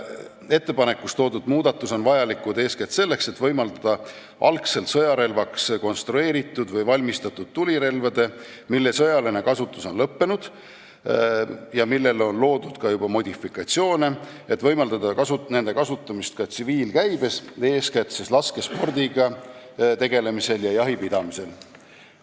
Eespool toodud muudatus on vajalik eeskätt selleks, et võimaldada algselt sõjarelvaks konstrueeritud või valmistatud tulirelvade, mille sõjaline kasutus on lõppenud ja millele on loodud ka juba modifikatsioone, kasutamist ka tsiviilkäibes, eeskätt laskespordiga tegelemisel ja jahipidamisel.